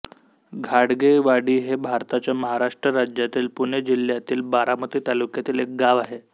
घाडगेवाडी हे भारताच्या महाराष्ट्र राज्यातील पुणे जिल्ह्यातील बारामती तालुक्यातील एक गाव आहे